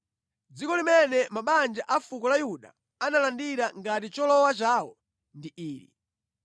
Dziko limene mabanja a fuko la Yuda analandira ngati cholowa chawo ndi ili: